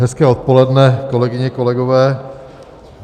Hezké odpoledne, kolegyně, kolegové.